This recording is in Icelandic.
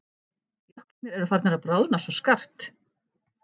Jöklarnir eru farnir að bráðna svo skarpt.